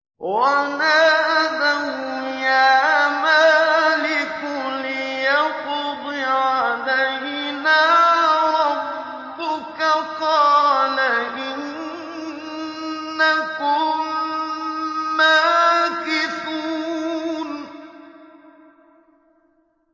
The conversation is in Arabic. وَنَادَوْا يَا مَالِكُ لِيَقْضِ عَلَيْنَا رَبُّكَ ۖ قَالَ إِنَّكُم مَّاكِثُونَ